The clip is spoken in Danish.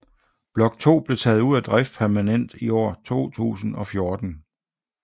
Blok 2 blev taget ud af drift permanent i år 2014